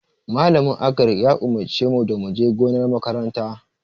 Malamin Agric ya umurce mu da mu je gonar makaranta.